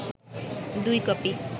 দুই কপি